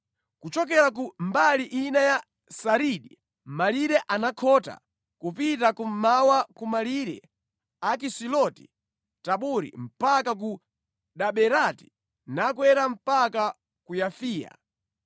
Kuchokera ku mbali ina ya Saridi malire anakhota kupita kummawa ku malire a Kisiloti-Tabori mpaka ku Daberati nakwera mpaka ku Yafiya.